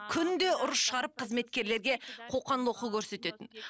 күнде ұрыс шығарып қызметкерлерге қоқан лоққы көрсететін